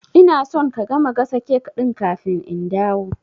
Ina son ka gama gasa cake ɗin kafin in dawo